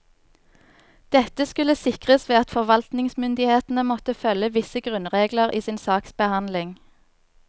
Dette skulle sikres ved at forvaltningsmyndighetene måtte følge visse grunnregler i sin saksbehandling.